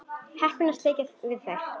Heppin að sleppa við þær.